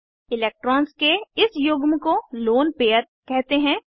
electrons के इस युग्म को लोन पेअर कहते हैं